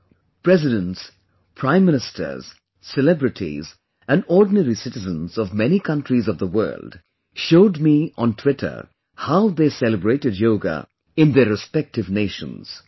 The Presidents, Prime Ministers, celebrities and ordinary citizens of many countries of the world showed me on the Twitter how they celebrated Yoga in their respective nations